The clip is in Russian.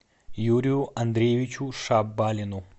юрию андреевичу шабалину